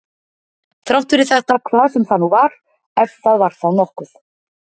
Þrátt fyrir þetta hvað sem það nú var, ef það var þá nokkuð.